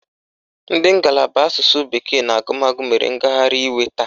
Ndị ngalaba asụsụ bekee na agụmagụ mere ngagharị iwe taa.